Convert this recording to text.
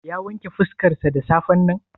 Ya wanke fuskarsa da safen nan?